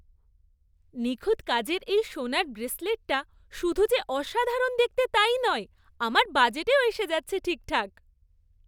নিখুঁত কাজের এই সোনার ব্রেসলেটটা শুধু যে অসাধারণ দেখতে তাই নয় আমার বাজেটেও এসে যাচ্ছে ঠিকঠাক।